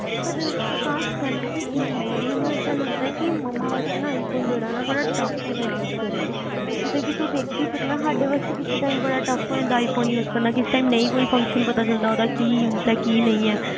ਅਕਾਸ਼ ਗੱਲ ਪਤਾ ਕੀ ਹੈਗੀਆ ਮੈਨੂੰ ਏਦਾ ਲੱਗਦਾ ਕੀ ਮਮਾਂ ਵਾਸਤੇ ਨਾ iphone ਜਿਹੜਾ ਨਾ ਬੜਾ tough ਹੋਣਾ use ਕਰਨਾ ਜਿਦਾ ਕੀ ਤੂੰ ਦੇਖ ਸਕਣਾ ਸਾਡੇ ਵਾਸਤੇ ਕਿਸੇ ਟਾਈਮ ਬੜਾ tough ਹੋ ਜਾਦਾ use ਕਰਨਾ ਕਿਸੇ ਟਾਈਮ ਨਹੀ ਕੋਈ function ਪਤਾ ਚਲਦਾ ਉਹਦਾ ਕੀ use ਆ ਕੀ ਨਹੀ ਆ